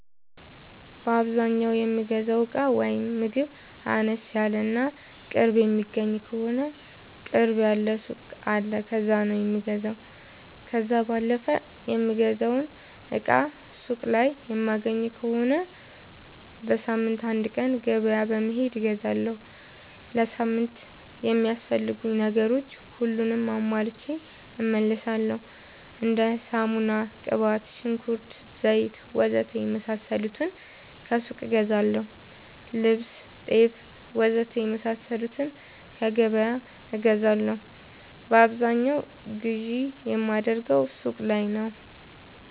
በአዛኛው የምገዛው እቃ ወይም ምግብ አነስ ያለ እና ቅርብ የሚገኝ ከሆነ ቅርብ ያለ ሱቅ አለ ከዛ ነው የምገዛው። ከዛ ባለፈ የምፈልገውን እቃ ሱቅ ላይ የማይገኝ ከሆነ በሳምንት አንድ ቀን ገበያ በመሄድ እገዛለሁ። ለሳምንት የሚያስፈልጉኝ ነገሮች ሁሉንም አሟልቼ እመለሣለሁ። እንደ ሳሙና፣ ቅባት፣ ሽንኩርት፣ ዘይት,,,,,,,,, ወዘተ የመሣሠሉትን ከሱቅ እገዛለሁ። ልብስ፣ ጤፍ,,,,,,,,, ወዘተ የመሣሠሉትን ከገበያ እገዛለሁ። በአብዛኛው ግዢ የማደርገው ሱቅ ነው።